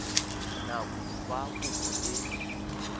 nako ya fa kopo e